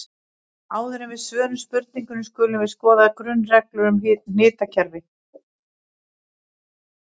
Áður en við svörum spurningunni skulum við skoða grunnreglur um hnitakerfi.